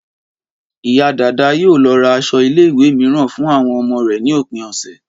Ìyá Dàda yóò lọ ra aṣọ ilé ìwé mìíràn fún àwọn ọmọ rẹ̀ ní òpin ọ̀sẹ̀